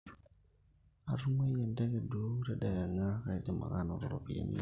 atunguaie enteke duo tadekenya, kaidim ake anoto ropiyani ainei